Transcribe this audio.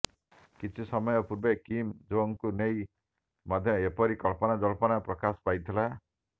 କିଛି ସମୟ ପୂର୍ବେ କିମ୍ ଜୋଙ୍ଗଙ୍କୁ ନେଇ ମଧ୍ୟ ଏପରି କଳ୍ପନାଜଳ୍ପନା ପ୍ରକାଶ ପାଇଥିଲା